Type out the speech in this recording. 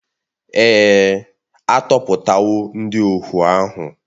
Èè, a tọhapụwo ndị ohu ahụ